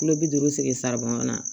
Kulo bi duuru sigi na